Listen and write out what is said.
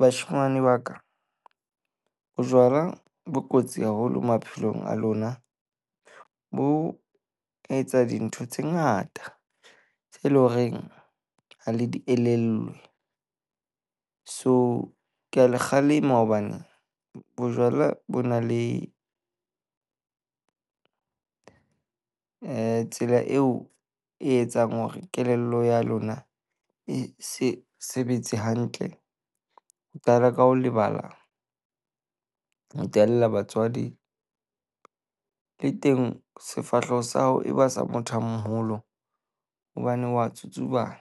Bashemane ba ka, bojwala bo kotsi haholo maphelong a lona. Bo etsa dintho tse ngata tse leng horeng ha le di elellwe. So, ke a le kgalema hobane bojwala bo na le eh tsela eo e etsang hore kelello ya lona e se sebetse hantle. Ho qala ka ho lebala. Ho ttella batswadi le teng sefahleho sa hao e ba sa motho a moholo hobane wa tsutsubana.